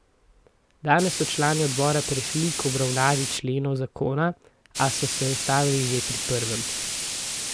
Danes so člani odbora prešli k obravnavi členov zakona, a so se ustavili že pri prvem.